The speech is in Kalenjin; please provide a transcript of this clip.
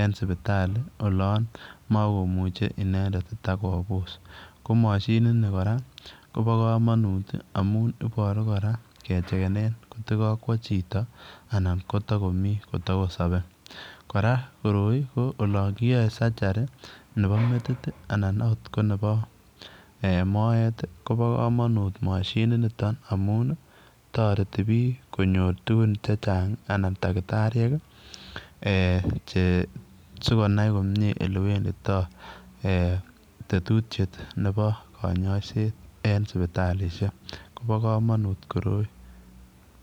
en sipitali olaan makomuchei inendet ko mashiniit ni kora kemuchei kora kechegenen kot koot ko kakwa chitoo anan ko takosabei kora ,kora koroi olaan kiyae surgery nebo metit anan akot ko nebo moet kobaa kamanuut mashiniit nitoon amuun ii taretii biik konyoor tuguun chechaang ii anan takitariek eeh che sikonai komyei tetutiet nebo kanyaiseet en sipitalishek Kobo kamanut koroi.